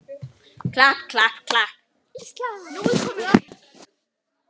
klapp, klapp, klapp, Ísland!